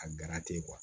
A gara te